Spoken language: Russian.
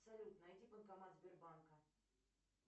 салют найди банкомат сбербанка